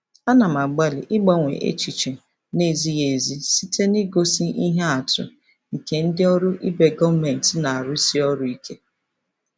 Ana m agbalị ịgbanwe echiche na-ezighị ezi site n'igosi ihe atụ nke ndị ọrụ ibe gọọmentị na-arụsi ọrụ ike.